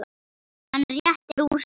Hann réttir úr sér.